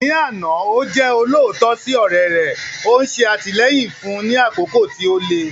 Ní àná, ó jẹ́ olóòótọ́ sí ọ̀rẹ́ rẹ̀, ó ń ṣe àtìlẹ́yìn fún un ní àkókò tí ó le.